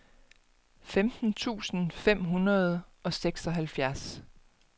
femten tusind fem hundrede og seksoghalvfjerds